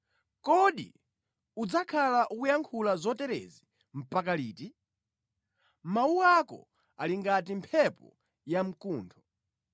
“Kodi udzakhala ukuyankhula zoterezi mpaka liti? Mawu ako ali ngati mphepo yamkuntho.